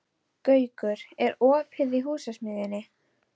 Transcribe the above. Gaukur, er opið í Húsasmiðjunni?